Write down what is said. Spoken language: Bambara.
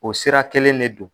O sira kelen de don.